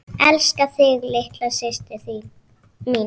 Elska þig litla systir mín.